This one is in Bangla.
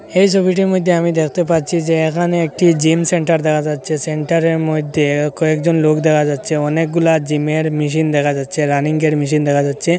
এই সবিটির মইদ্যে আমি দেখতে পাচ্ছি যে এখানে একটি জিম সেন্টার দেখা যাচ্ছে সেন্টারে র মইধ্যে কয়েকজন লোক দেখা যাচ্ছে অনেকগুলা জিমে র মেশিন দেখা যাচ্ছে রানিং য়ের মেশিন দেখা যাচ্ছে।